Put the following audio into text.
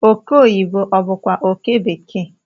oke oyibo obu kwa oke bekee?